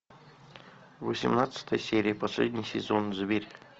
восемнадцатая серия последний сезон зверь